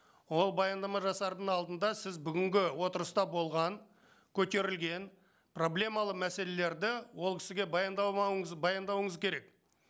ол баяндама жасардың алдында сіз бүгінгі отырыста болған көтерілген проблемалы мәселелерді ол кісіге баяндауыңыз керек